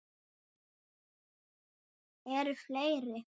Eru fleiri?